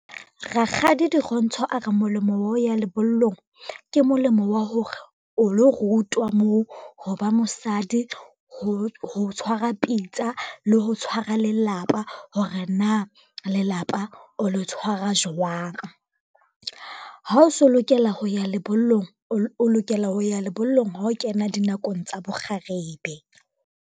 Rakgadi Dirontsho a re molemo wa ho ya lebollong ke molemo wa hore, o lo rutwa moo ho ba mosadi, ho tshwara pitsa le ho tshwara lelapa, hore na lelapa o lo tshwara jwang. Ha o so lokela ho ya lebollong, o lokela ho ya lebollong ha o kena dinakong tsa bo kgarebe.